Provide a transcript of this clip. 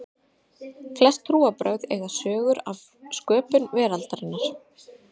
flest trúarbrögð eiga sögur af sköpun veraldarinnar